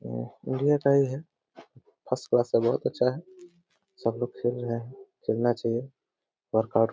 उम्म area का ही है। फर्स्ट क्लास है बहुत अच्छा है। सबलोग खेल रहे हैं। खेलना चाहिए। वर्कआउट --